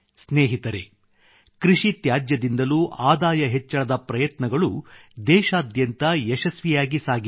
ಸ್ನೇಹಿತರೆ ಕೃಷಿ ತ್ಯಾಜ್ಯದಿಂದಲೂ ಆದಾಯ ಹೆಚ್ಚಳದ ಪ್ರಯತ್ನಗಳು ದೇಶಾದ್ಯಂತ ಯಶಸ್ವಿಯಾಗಿ ಸಾಗಿವೆ